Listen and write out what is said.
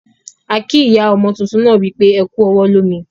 A kii ìyá ọmo túntún náà wípé "Ẹ kú ọwọ́ lómi"